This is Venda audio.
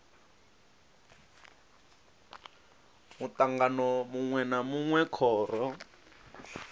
mutangano munwe na munwe khoro